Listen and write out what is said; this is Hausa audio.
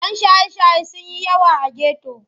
Yan shaye-shaye sun yi yawa a geto.